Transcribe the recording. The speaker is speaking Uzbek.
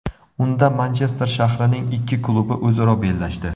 Unda Manchester shahrining ikki klubi o‘zaro bellashdi.